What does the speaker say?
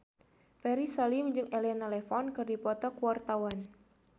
Ferry Salim jeung Elena Levon keur dipoto ku wartawan